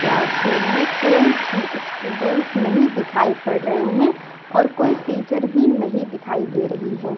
Class room में कोई भी स्टूडेंट नहीं दिखाई पड़ रहे हैं और कोई भी टीचर नहीं दिखाई दे रहे हैं।